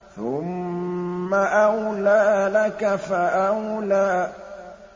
ثُمَّ أَوْلَىٰ لَكَ فَأَوْلَىٰ